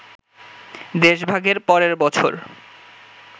দেশভাগের পরের বছর